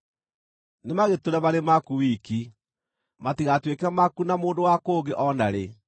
Nĩmagĩtũũre marĩ maku wiki, matigatuĩke maku na mũndũ wa kũngĩ o na rĩ.